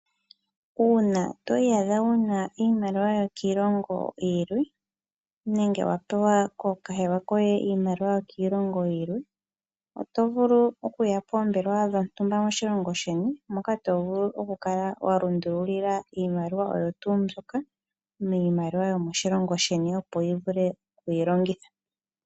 Uuna toyi adha wuna iimaliwa yokiilongo yilwe nenge wapewa kookahewa koye iimaliwa yokiilongo yilwe otovulu okuya poombelewa dhontumba moshilongo sheni moka tovulu okukala walundululila iimaliwa oyo tuu mbyoka miimaliwa yomo shilongo opo wuvule okuyi longitha.